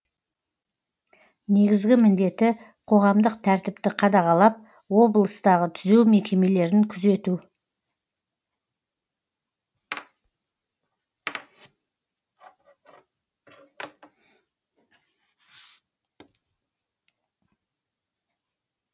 негізгі міндеті қоғамдық тәртіпті қадағалап облыстағы түзеу мекемелерін күзету